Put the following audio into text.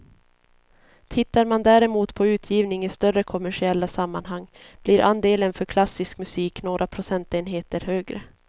Tittar man däremot på utgivning i större kommersiella sammanhang blir andelen för klassisk musik några procentenheter högre.